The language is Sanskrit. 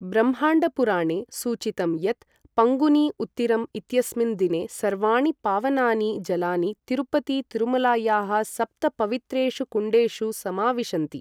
ब्रह्माण्डपुराणे सूचितं यत् पङ्गुनी उत्तिरम् इत्यस्मिन् दिने सर्वाणि पावनानि जलानि तिरुपति तिरुमलायाः सप्त पवित्रेषु कुण्डेषु समाविशन्ति।